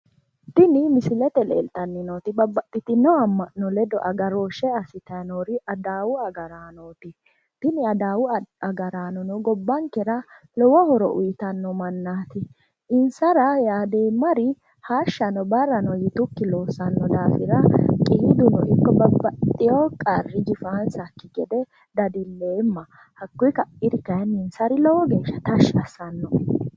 Tini misilete leeltanni nooti babbaxxitino amma'no ledo agarooshshe assitannori adawu agaraanooti. Tini adawu agaraanono gobbankera lowo horo uyitanno mannaati. Insara yaadeemmari hashshano barrano yitukki loossanno daafira qiiduno ikko babbxxiwo qarri jifaansakki gede dadilleemma. Hakkuyi kairi kayinni insari lowo geeshsha tashshi assannoe